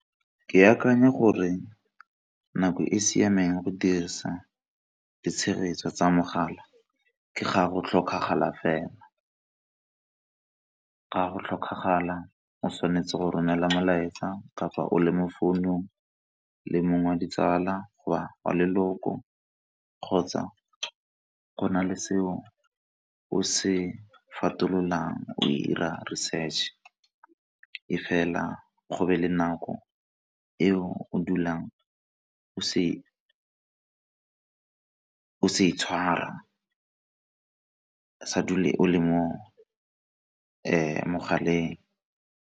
Ke akanya gore nako e siameng go dirisa di tshegetso tsa mogala ke ga go tlhokagala fela ga o tshwanetse go romela molaetsa kapa o le mo founung le mongwe ditsala, wa leloko, kgotsa go na le seo o se fetololang o 'ira research, e fela go be le nako e o dulang o se tshwara sa dule o le mo mongwe mogaleng.